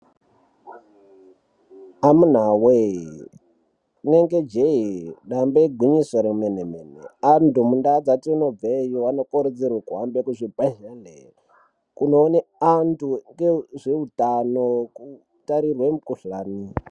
Amunawe! rinenge jee damba igwinyiso remenemene antu mundau dzatinobveyo anokurudzirwe kuhambe kuzvibhedhleya kunoona antu ngezveutano kutarirwe mikhuhlani.